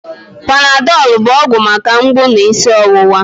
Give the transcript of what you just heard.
Panadọl bụ ọgwụ maka ahụ mgbụ na isi ọwụwa